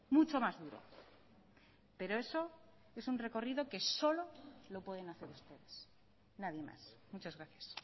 mucho más duro pero eso es un recorrido que solo lo pueden hacer ustedes nadie más muchas gracias